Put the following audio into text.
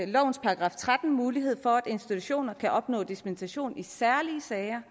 lovens § tretten mulighed for at institutioner kan opnå dispensation i særlige sager